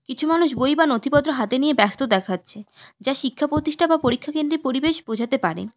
কিছু মানুষ বই বা নথিপত্র হাতে নিয়ে ব্যস্ত দেখাচ্ছে যা শিক্ষা পতিষ্ঠা বা পরীক্ষাকেন্দ্রের পরিবেশ বোঝাতে পারে।